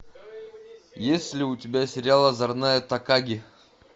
есть ли у тебя сериал озорная такаги